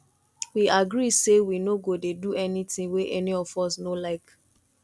we agree say we no go dey do anything wey any of us no like